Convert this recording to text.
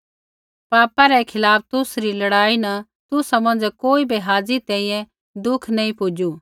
पापा रै खिलाफ़ तुसरी लड़ाई न तुसा मौंझ़ै कोई बै हाज़ी तैंईंयैं दुःख नैंई पुजू